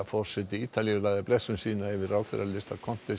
forseti Ítalíu lagði blessun sína yfir ráðherralista